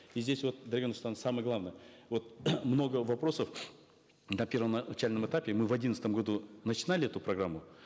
и здесь вот дарига нурсултановна самое главное вот много вопросов на первоначальном этапе мы в одиннадцатом году начинали эту программу